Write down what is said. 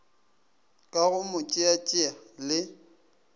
ka go mo tšeatšea le